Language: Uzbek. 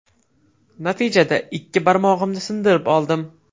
Natijada ikkita barmog‘imni sindirib oldim.